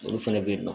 Olu fɛnɛ bɛ yen nɔ